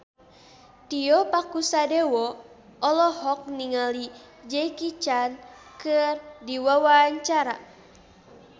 Tio Pakusadewo olohok ningali Jackie Chan keur diwawancara